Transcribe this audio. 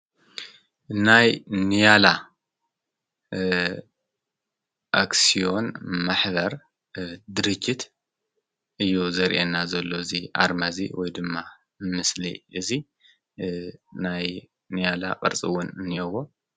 ናይ ኔያላ ኣክስዮን ማኅበር ድርጅት እዩ ዘርአና ዘለ እዙይ ኣርመ እዙይ ወይ ድማ ምስሊ እዙይ ናይ ንያላ ቐርጽውን ንኤዎ።